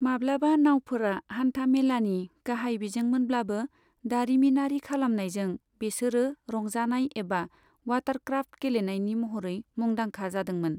माब्लाबा नावफोरा हान्था मेलानि गाहाय बिजोंमोनब्लाबो, दारिमिनारि खालामनायजों बेसोरो रंजानाय एबा वाटरक्राफ्ट गेलेनायनि महरै मुदांखा जादोंमोन।